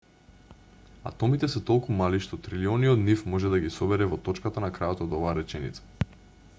атомите се толку мали што трилиони од нив може да ги собере во точката на крајот од оваа реченица